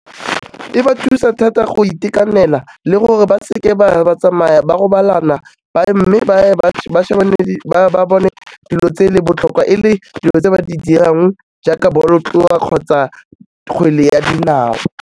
E ba thusa thata go itekanela le gore ba seke ba tsamaya ba robalana mme ba bone dilo tse le botlhokwa e le dilo tse ba di dirang jaaka bolotloa kgotsa kgwele ya dinao.